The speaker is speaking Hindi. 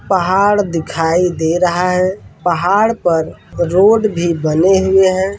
पहाड़ दिखाई दे रहा है पहाड़ पर रोड भी बने हुए हैं।